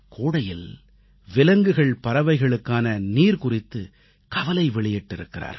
கோடையில் விலங்குகள்பறவைகளுக்கான நீர் குறித்து கவலை வெளியிட்டிருக்கிறார்கள்